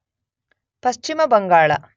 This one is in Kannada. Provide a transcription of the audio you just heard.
ಪಶ್ಚಿಮ ಬಂಗಾಳ